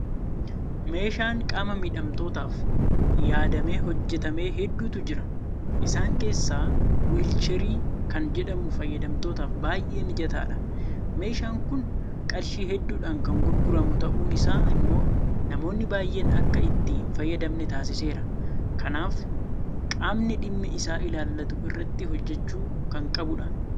Meeshaan qaama miidhamtootaaf yaadamee hojjetame hedduutu jira. Isaan keessaa Wiilcherii kan jedhamu fayyadamtootaaf baay'ee mijataadha. Meeshaan kun qarshii hedduudhaan kan gurguramu ta'uun isaa immoo namoonni baay'een akka itti hinfayyadamne taasiseera. Kanaaf qaamni dhimmi isaa ilaallatu irratti hojjechuu kan qabudha.